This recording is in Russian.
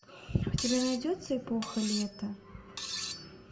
у тебя найдется эпоха лета